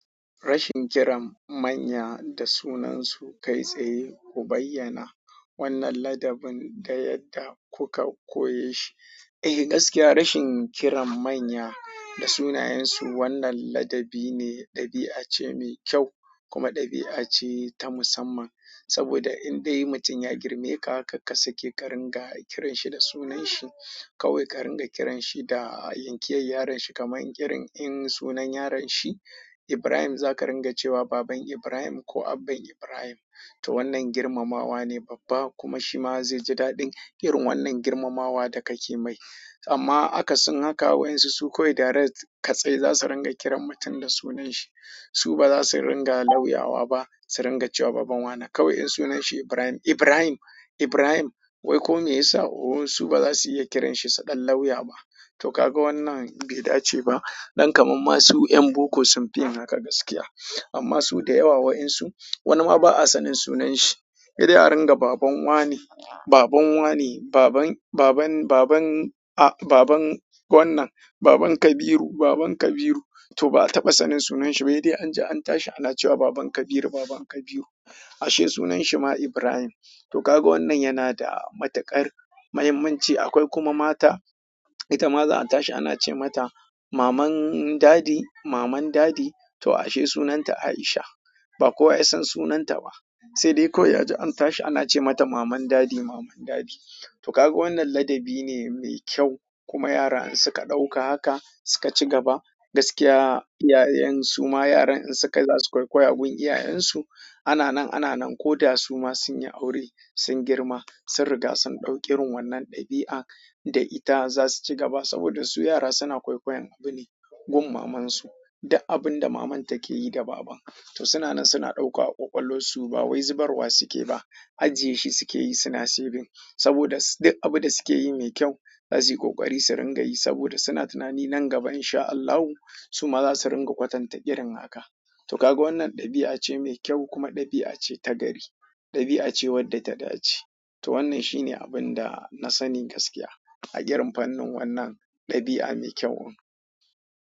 Rashin kiran manya da sunansu kai tsaye ku bayyana wannan ladabin da yadda kuka koye shi. Eh gaskiya rashin kiran manya da sunayensu wannan ladabi ne, ɗabi'a ce mai kyau kuma ɗabi'a ce ta musamman. Saboda indai mutum ya girme ka kar ka sake ka dinga kiranshi da sunanhi. Kawai ƙarin ga kiranshi da yankiyar yaron shi kamar irin in sunan yaron shi Ibrahim za ka ringa cewa Baban Ibrahim ko Abban Ibrahim. To wannan girmamawa ne babba kuma shi ma zai ji daɗin irin wannan girmamawa da kake mai. Amma akasin haka wa'insu su kawai direct katse za su ringa kiran mutum da sunanshi. Su ba za su ringa lauyawa ba, su ringa cewa Baban Wane kawai in sunanshi Ibrahim, Ibrahim, Ibrahim wai ko me ya sa. Oho su ba za su iya kiranshi su ɗan lauya ba. To kaga wannan bai dace ba. Ɗan kamar ma su 'yan boko sun fi yin haka gaskiya. Amma su da yawa wa'insu wani ma ba'a sanin sunanshi. Sai dai a ringa Baban Wane, Baban Wane, Baban, Baban, Baban, a, Baban wannan, Baban Kabiru, Baban Kabiru. To ba a taɓa sanin sunanshi ba. Sai dai an ji an tashi ana cewa Baban Kabiru, Baban Kabiru ashe sunanshi ma Ibrahim. To kaga wannan yana da matuƙar muhimmanci. Akwai kuma mata ita ma za a tashi ana ce mata Maman Dadi, Maman Dadi to ashe sunanta Aisha. Ba kowa ya san sunanta ba. Sai dai kawai a ji an tashi ana ce mata Maman Dadi, Maman Dadi. To kaga wannan ladabi ne mai kyau kuma yara in suka ɗauka haka suka cigaba gaskiya iyayen su ma yaran in su kai za su kwakwaya gun iyayensu. Ana nan ana nan ko da su ma sun yi aure, sun girma, sun riga sun ɗauki irin wannan ɗabi'a da ita za su cigaba saboda su yara suna kwakwayan abune gun mamansu. Duk abun da maman ta ke yi da baban. To suna nan suna ɗauka a ƙwaƙwalwarsu ba wai zubarwa suke ba ajiye shi suke yi suna saving. Saboda duk abun da suke yi mai kyau za su yi ƙoƙari su ringa yi saboda suna tunani nan gaba in sha Allahu su ma za su ringa kwatanta ƙirin haka. To kaga wannan ɗabi'a ce mai kyau kuma ɗabi'a ce ta gari. Ɗabi'a ce wadda ta dace. To wannan shi ne abun da na sani gaskiya a irin fannin wannan ɗabi'a mai kyau in.